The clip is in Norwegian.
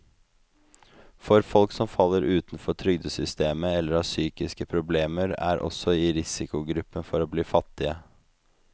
Folk som faller utenfor trygdesystemet eller har psykiske problemer, er også i risikogruppen for å bli fattige.